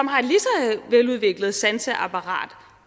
veludviklet sanseapparat